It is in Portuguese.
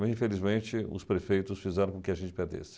Mas, infelizmente, os prefeitos fizeram com que a gente perdesse.